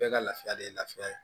Bɛɛ ka lafiya de ye lafiya ye